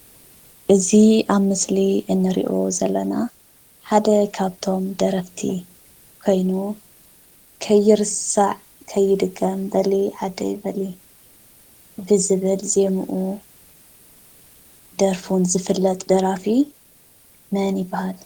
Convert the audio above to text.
እዚ ኣብ ምስሊ እንሪኦ ዘለና ሓደ ካብቶም ደረፍቲ ኮይኑ ከይርሳዕ ከይድገም በሊ ዓደይ በሊ ብዝብል ዜሙኡን ደርፉን ዝፍለጥ ደራፊ መን ይባሃል?